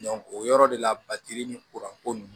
o yɔrɔ de la batiri ni kuranko ninnu